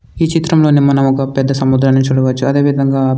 ఈ చిత్రంలోని మనం ఒక పెద్ద సముద్రాన్ని చూడవచ్చు. అదేవిధంగా--